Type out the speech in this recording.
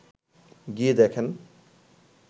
গিয়ে দেখেন